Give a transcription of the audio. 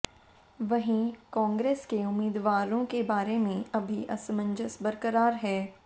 वहीं कांग्रेस के उम्मीदवारों के बारे में अभी असमंजस बरकरार है